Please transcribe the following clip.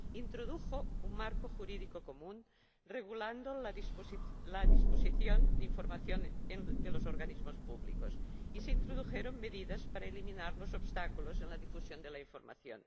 introdujo un marco jurídico común que regulaba la disposición de la información de los organismos públicos, así como medidas para eliminar los obstáculos en la difusión de la información.